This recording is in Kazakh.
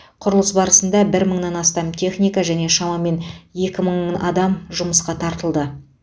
құрылыс барысында бір мыңнан астам техника және шамамен екі мың адам жұмысқа тартылды